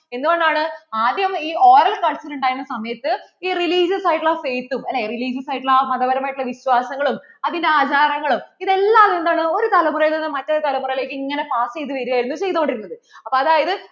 എന്തുകൊണ്ടാണ് ആദ്യം ഈ oral concern ഉണ്ടായിരുന്ന സമയത്തു ഇ religious ആയിട്ടുള്ള faith ഉം അല്ലേ religious ആയിട്ടുള്ള, ആ മതപരമായിട്ട് ഉള്ള വിശ്വാസങ്ങളും അതിന്‍റെ ആചാരങ്ങളും ഇതെല്ലാം എന്താണ് ഒരു തലമുറ നും മറ്റൊരു തലമുറയിലേക്ക് ഇങ്ങനെ pass ചെയ്തതു വരുകയായിരുന്നു ചെയ്തുകൊണ്ടിരുന്നത് അപ്പോ അതായത്